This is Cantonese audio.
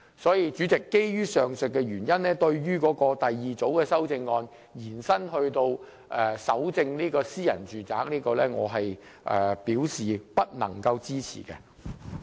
所以，主席，基於上述原因，對於第二組修正案把搜證權力延伸至搜查私人住宅，我不能夠支持。